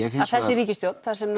að þessi ríkisstjórn þar sem